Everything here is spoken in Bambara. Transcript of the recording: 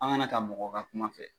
An kana ta mɔgɔ ka kuma fɛ.